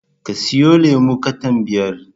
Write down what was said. Ka siyon lemon katan biyar